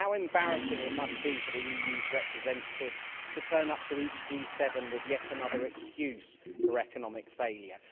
How embarrassing it must be for the EU's representatives to turn up to each G7 with yet another excuse for economic failure.